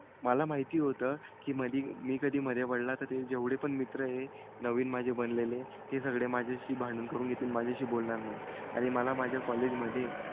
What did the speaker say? मला माहिती होतं की मधी मी कधी मधे पडला तर ते मित्र आहेत नवीन माझे बनलेले ते सगळे माझ्याशी भांडण करून घेतील. माझ्याशी बोलणार नाहीत. आणि मला माझ्या कॉलेज मधे,